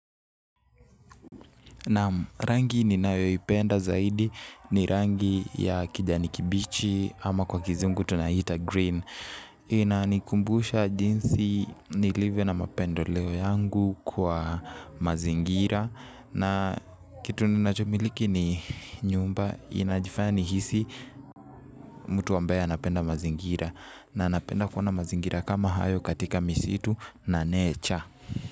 Rangi ninayoipenda zaidi ni rangi ya kijani kibichi ama kwa kizungu tunaiita green. Inanikumbusha jinsi nilivyo na mapendeleo yangu kwa mazingira. Na kitu ninachomiliki ni nyumba inajifanya nihisi mtu ambaye anapenda mazingira. Na napenda kuona mazingira kama hayo katika misitu na nature.